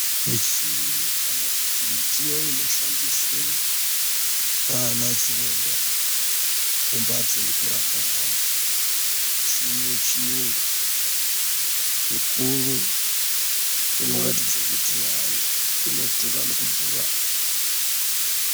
Michini kana kuti midziyo inoshandiswe naanachiremba mumhatso yekurapwa antu. Michini yechiyungu mikuru inoratidze kuti inodhura nekudhura.